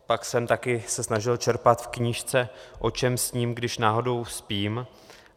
Pak jsem také se snažil čerpat v knížce O čem sním, když náhodou spím.